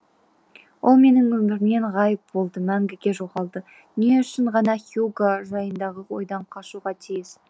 ол менің өмірімнен ғайып болды мәңгіге жоғалды не үшін ғана хьюго жайындағы ойдан қашуға тиіс